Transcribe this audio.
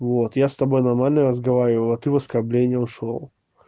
вот я с тобой нормально разговариваю а ты в оскорбления ушёл